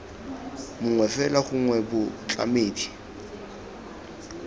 mongwe fela gongwe b motlamedi